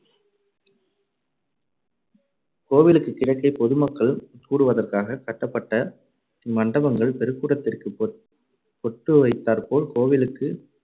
கோவிலுக்கு கிழக்கே பொதுமக்கள் கூடுவதற்காக கட்டப்பட்ட இம்மண்டபங்கள் பெறுக்குடத்திற்கு பொட்டு வைத்தாற்போல் கோவிலுக்கு